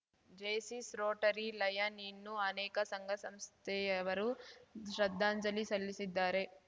Jaycees Rotary Lion ಇನ್ನೂ ಅನೇಕ ಸಂಘಸಂಸ್ಥೆಯವರು ಶ್ರದ್ಧಾಂಜಲಿ ಸಲ್ಲಿಸಿದ್ದಾರೆ